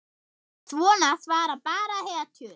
Svona svara bara hetjur.